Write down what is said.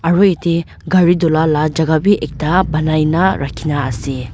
aro etey gari dui la ka jhaka b ekta bainai na rakhina ase.